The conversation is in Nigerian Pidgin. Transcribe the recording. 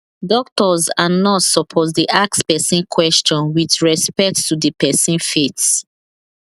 doctors and nurse supposed dey ask person question with respect to the person faith